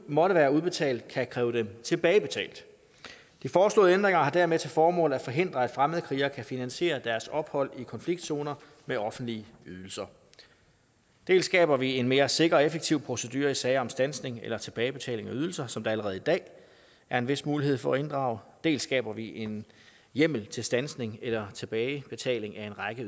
måtte være udbetalt kan kræve dem tilbagebetalt de foreslåede ændringer har dermed til formål at forhindre at fremmede krigere kan finansiere deres ophold i konfliktzoner med offentlige ydelser dels skaber vi en mere sikker og effektiv procedure i sager om standsning eller tilbagebetaling af ydelser som der allerede i dag er en vis mulighed for at inddrage dels skaber vi en hjemmel til standsning eller tilbagebetaling af en række